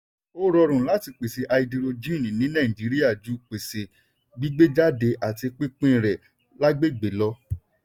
ó rọrùn láti pèsè háídírójìn ní nàìjíríà ju pèsè gbígbéjáde àti pínpín rẹ̀ lágbègbè lọ.